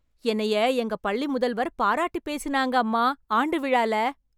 என்னைய எங்க பள்ளிமுதல்வர் பாராட்டி பேசுனாங்க, அம்மா ஆண்டு விழால!